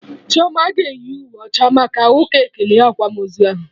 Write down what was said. Chioma ga-eyi uwe ọcha maka ụka ekele akwamozu ahụ